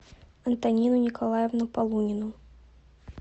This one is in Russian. антонину николаевну полунину